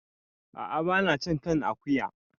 Ah ah ba na cin kan akuya